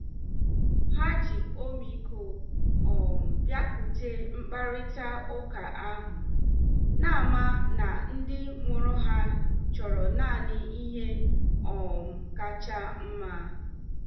Ha ji ọmịiko um bịakwute mkparịta ụka ahụ, na-ama na ndị mụrụ ha chọrọ naanị ihe um kacha mma.